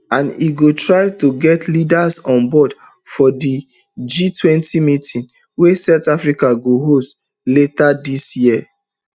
and e go try to get leaders on board for di gtwenty meeting wey south africa go host later dis year